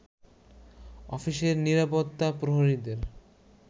অফিসের নিরাপত্তা প্রহরীদের